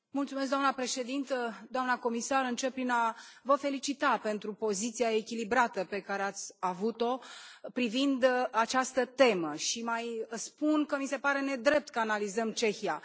Doamnă președintă, doamna comisar, încep prin a vă felicita pentru poziția echilibrată pe care ați avut o privind această temă și mai spun că mi se pare nedrept că analizăm Cehia.